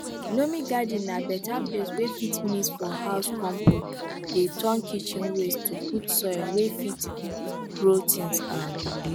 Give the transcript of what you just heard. loamy garden na beta place wey fit mix for house compost dey turn kitchen waste to good soil wey fit grow things um